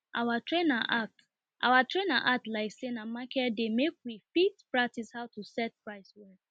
our trainer act our trainer act like say na market day make we fit practice how to set price well